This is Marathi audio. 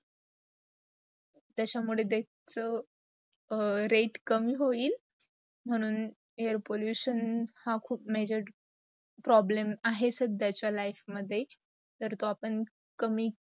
त्याचा मुडे death rate कमी होयिल् म्हणून air pollution हा खूप measured problem आहेत साड्याचा life मदे. तर तो आपण